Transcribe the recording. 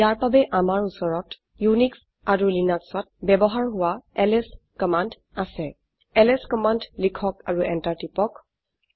ইয়াৰ বাবে আমাৰ উচৰত উনিশ এণ্ড Linuxত ব্যবহাৰ হোৱা এলএছ কমান্ড আছে এলএছ কমান্ড লিখক আৰু এন্টাৰ টিপক